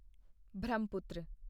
Brahmaputra